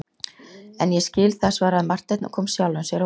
En ég skil það, svaraði Marteinn og kom sjálfum sér á óvart.